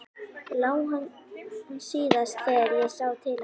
LÁ HANN SÍÐAST ÞEGAR ÉG SÁ TIL HANS.